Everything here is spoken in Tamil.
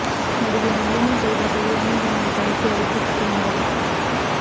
நடிகை நளினி செய்த செயல் நீண்ட நாள் கழித்து வெளிச்சத்துக்கு வந்தது